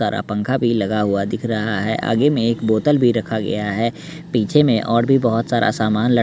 तारा पंखा भी लगा हुआ दिख रहा है आगे में एक बोतल भी रखा गया है पीछे में और भी बहोत सारा सामान लट--